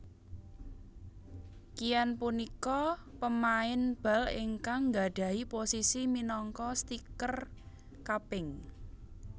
Keane punika pemain bal ingkang nggadhahi posisi minangka stiker kaping